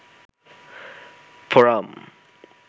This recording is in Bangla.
ফোরাম